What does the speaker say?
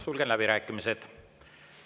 Sulgen läbirääkimised.